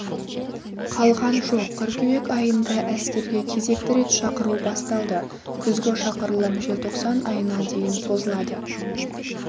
қалған жоқ қыркүйек айында әскерге кезекті рет шақыру басталды күзгі шақырылым желтоқсан айына дейін созылады